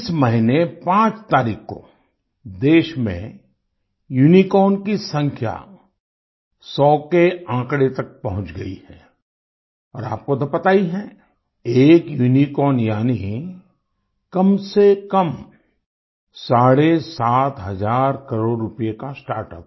इस महीने 5 तारीख को देश में यूनिकॉर्न की संख्या 100 के आँकड़े तक पहुँच गई है और आपको तो पता ही है एक यूनिकॉर्न यानी कमसेकम साढ़े सात हज़ार करोड़ रूपए का स्टार्टअप